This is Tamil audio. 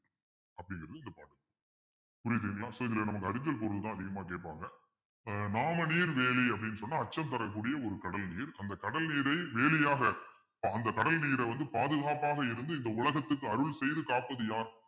புரியுதுங்களா so இதுல நமக்கு பொருள்தான் அதிகமா கேட்பாங்க ஆஹ் நாமநீர் வேலி அப்பிடின்னு சொன்னால் அச்சம் தரக்கூடிய ஒரு கடல் நீர் அந்த கடல் நீரை வேலியாக அஹ் அந்த கடல் நீரை வந்து பாதுகாப்பாக இருந்து இந்த உலகத்துக்கு அருள் செய்து காப்பது யார்